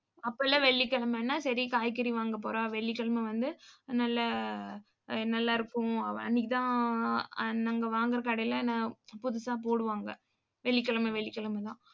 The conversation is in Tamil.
அப்பெல்லாம் வெள்ளிக்கிழமைன்னா, சரி காய்கறி வாங்கப்போறா வெள்ளிக்கிழமை வந்து நல்லா ஆ நல்லா இருக்கும். அன்னைக்குதான் நாங்க வாங்கற கடையில நான் புதுசா போடுவாங்க. வெள்ளிக்கிழமை வெள்ளிக்கிழமைதான்.